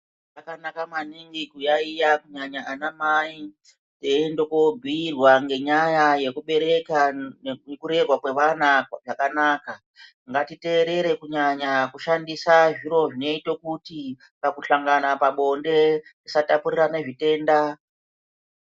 Zvakanaka maningi kuyayiya kunyanya anamai, eiende kobhuirwa ngenyaya yekubereka nekurerwa kwevana zvakanaka. Ngatiteerere kunyanya kushandisa zviro zvinoite kuti, pakuhlangana pabonde tisatapurirana zvitenda.